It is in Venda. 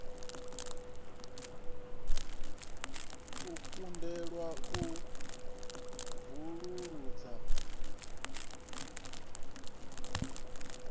u kundelwa u vusuludza giranthi